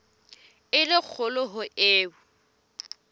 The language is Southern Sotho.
e le kgolo ho eo